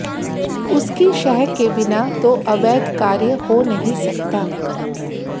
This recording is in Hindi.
उसकी शह के बिना तो अवैध कार्य हो नहीं सकता